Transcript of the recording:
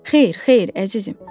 Xeyr, xeyr, əzizim.